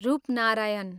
Rupnarayan